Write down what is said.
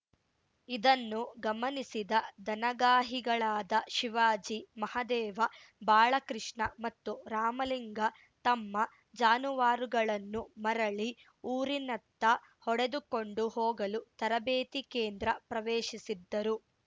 ಇದನ್ನು ಗಮನಿಸಿದ ದನಗಾಹಿಗಳಾದ ಶಿವಾಜಿ ಮಹಾದೇವ ಬಾಳಕೃಷ್ಣ ಮತ್ತು ರಾಮಲಿಂಗ ತಮ್ಮ ಜಾನುವಾರುಗಳನ್ನು ಮರಳಿ ಊರಿನತ್ತ ಹೊಡೆದುಕೊಂಡು ಹೋಗಲು ತರಬೇತಿ ಕೇಂದ್ರ ಪ್ರವೇಶಿಸಿದ್ದರು